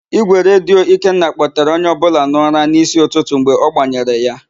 Ígwèredio Ikenna kpọtere onye ọbụla n'ụra n'ísí ụtụtụ mgbe ọ gbanyere ya.